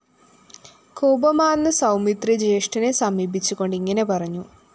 കോപമാര്‍ന്ന സൗമിത്രി ജ്യേഷ്ഠനെ സമീപിച്ചുകൊണ്ട് ഇങ്ങനെ പറഞ്ഞു